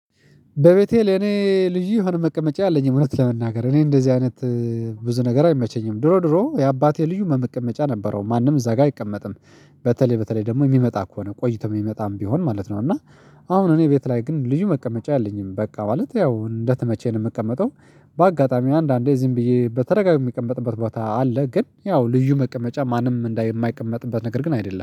በቤቴ ለኔ ልዩ የሆነ መቀመጫ አለኝ እውነት ለመናገር እኔ እንደዚህ አይነት ብዙ ነገር አይመቸኝም። ድሮ ድሮ የአባቴ ልዩ መመቀመጫ ነበረው ማንም እዛ ጋር አይቀመጥም። በተለይ በተለይ ደግሞ የሚመጣ ከሆነ ቆይቶ የሚመጣም ቢሆን ማለት ነው። እና አሁን እኔ ቤት ላይ ግን ልዩ መቀመጫ የለኝም በቃ ማለት ያው እንደተመቸኝ ነው የምቀመጠው። በአጋጣሚ አንዳንዴ እዚህም ብዬ በተረጋጋ የምቀመጥበት ቦታ አለ። ግን ያው ልዩ መቀመጫ ማንም እንደማይቀመጥበት ነገር ግን አይደለም